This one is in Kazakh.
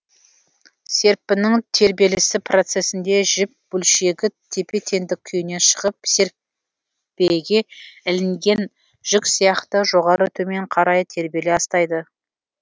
серіппенің тербелісі процесінде жіп бөлшегі тепе теңдік күйінен шығып серіппеге ілінген жүк сияқты жоғары төмен қарай тербеле астайды